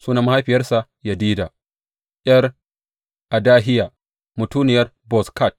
Sunan mahaifiyarsa Yedida ’yar Adahiya; mutuniyar Bozkat.